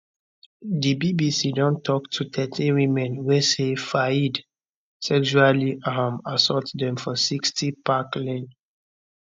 di bbc don tok to thirteen women wey say fayed sexually um assault dem for 60 park lane